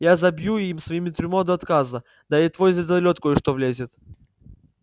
я забью им свои трюмы до отказа да и в твой звездолёт кое-что влезет